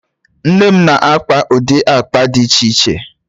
Nne m na-akpa ụdị akpa dị iche iche